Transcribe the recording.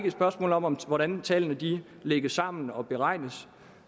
et spørgsmål om om hvordan tallene lægges sammen og beregnes